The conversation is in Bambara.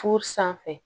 Furu sanfɛ